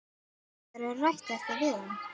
Hefurðu rætt þetta við hann?